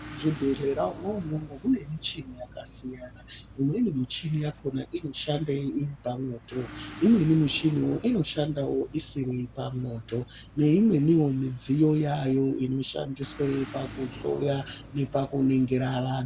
Muzvibhledhera umwomwo mwomwo mune muchini yakasiyana imweni michini yakhona inoshanda iri pamwoto imweni michini inoshanda isiri pamwoto . Neimweni midziyo yayo inoshandiswe pakuhloya nepakuningira vantu.